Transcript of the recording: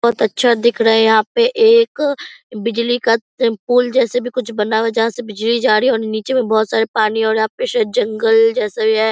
बहुत अच्छा दिख रहे है यहाँ पे एक बिजली का पूल जैसा भी कुछ बना है जहां से बिजली जा रही है और नीचे मे बहुत सारे पानी और यहाँ पे शायद जंगल जैसा है।